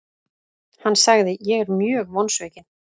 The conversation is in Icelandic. Hann sagði:, Ég er mjög vonsvikinn.